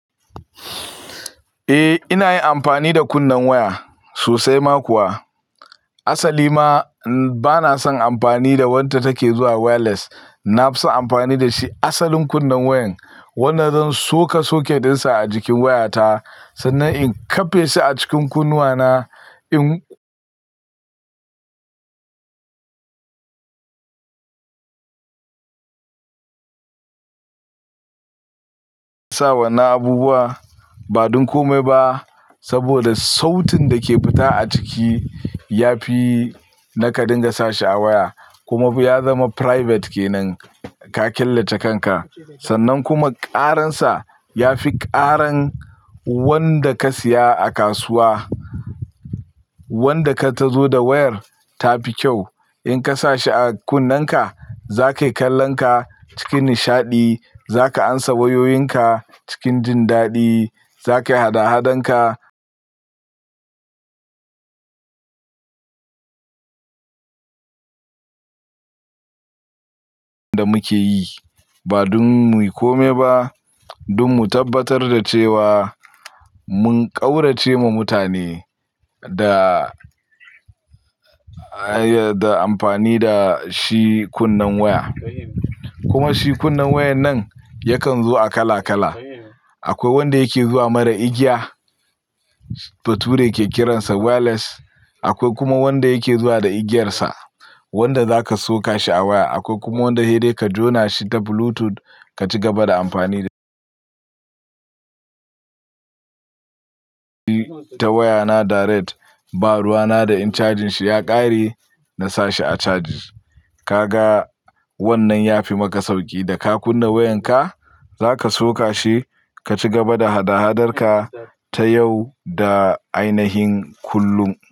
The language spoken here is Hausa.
Eh ina yin amfani da kunnin waya sosai ma kuwa. Asali ma bana son amfani da wadda take zuwa wireless. Na fi son amfani da shi asalin kunnin wayan wanda zan soka socket ɗinsa a jikin wayata sannan in kafe shi a cikin kunnuwana in sa wannan abubuwa ba don kome ba saboda sautin da ke fita a ciki ya fi na ka dinga sa shi a waya kuma fa ya zama private ke nan ka killace kanka. Sannan kuma ƙaransa ya fi ƙaran wanda ka siya a kasuwa wanda ka ta zo da wayar tafi kyau. In ka sa shi a kunnenka zaka yi kallon ka cikin nishaɗi, za ka amsa wayoyinka cikin jin daɗi, za ka yi hada-hadan ka da muke yi ba don mu yi kome ba don mu tabbatar da cewa mun ƙaurace ma mutane da, da amfani da shi kunnin waya. Kuma shi kunnin wayan nan yakan zo a kala-kala. Akwai wanda yake zuwa mara igiya bature ke kiransa wireless. Akwai kuma wanda yake zuwa da igiyarsa wanda za ka soka shi a waya. Akwai kuma wanda sai dai ka jona shi ta Bluetooth ka ci gaba da amfani da ta wayana direct. Ba ruwana da in cajin shi ya ƙare na sa shi a caji. Ka ga wannan ya fi maka sauƙi da ka kunna wayanka za ka soka shi ka cigaba da hada-hadar ka ta yau da ainahin kullum.